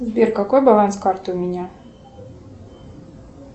сбер какой баланс карты у меня